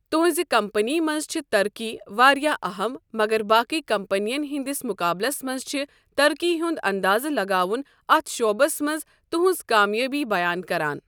تہنٛزِ کمپنی منٛز چھِ ترقی واریاہ اَہَم مگر باقی کمپنین ہنٛدِس مُقابلَس منٛز چھِ ترقی ہُنٛد اندازٕ لگاوُن اتھ شعبس منٛز تہنٛز کامیٲبی بیان کران۔